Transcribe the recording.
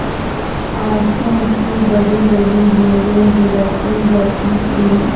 आँसू की बड़ीबड़ी बूँदें गिराती जाती थी